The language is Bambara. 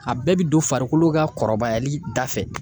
A bɛɛ bi don farikolo ka kɔrɔbayali da fɛ.